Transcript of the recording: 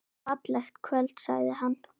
Fallegt kvöld sagði hann.